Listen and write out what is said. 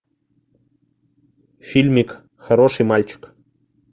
фильмик хороший мальчик